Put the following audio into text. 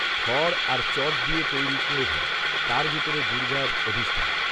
খড় আর চট দিয়ে তৈরি কুড়েঁঘর। তার ভিতরে দুর্গার অধিষ্ঠান